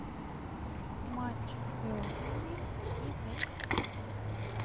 матч бернли и вест хэма